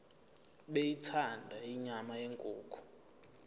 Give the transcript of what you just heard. beyithanda inyama yenkukhu